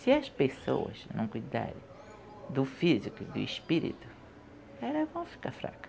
Se as pessoas não cuidarem do físico e do espírito, elas vão ficar fraca.